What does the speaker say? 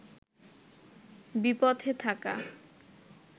বিপথে থাকা